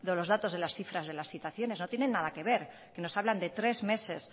los datos de las cifras de las citaciones no tienen nada que ver nos hablan de tres meses